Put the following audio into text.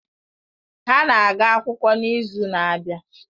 Ha na-aga akwụkwọ n'izu na-abịa.